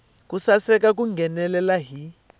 ku seketela ku nghenelela hi